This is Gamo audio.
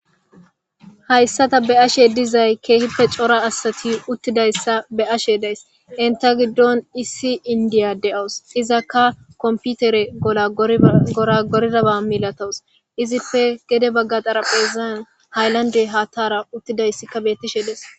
Hayssata be ashe dizay keehippe cora asati uttidayssa be ashe days inta giddon issi indiya de'awus izakka komputere ola gora gordaba milatowus izippe gede bagga xaraphezan hayllande haattara uttidayssikka bettishe dees.